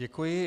Děkuji.